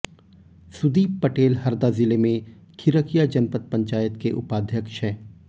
सुदीप पटेल हरदा जिले में खिरकिया जनपद पंचायत के उपाध्यक्ष हैं